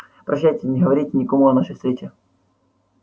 прощайте не говорите никому о нашей встрече